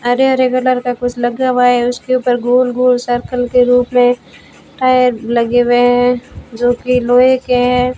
हरे-हरे कलर का कुछ लगा हुआ है उसके ऊपर गोल-गोल सर्कल के रूप में टायर लगे हुए हैं जो की लोहे के हैं।